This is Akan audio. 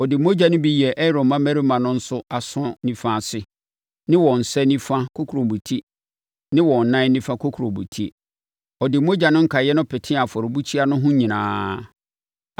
Ɔde mogya no bi yɛɛ Aaron mmammarima no nso aso nifa ase ne wɔn nsa nifa kokurobetie ne wɔn nan nifa kokurobetie. Ɔde mogya no nkaeɛ petee afɔrebukyia no ho nyinaa.